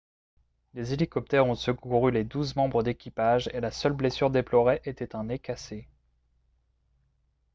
des hélicoptères ont secouru les douze membres d'équipage et la seule blessure déplorée était un nez cassé